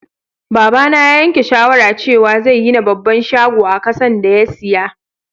Baba na ya yanke shawara cewa zai gina babban shago a kasan da ya siya.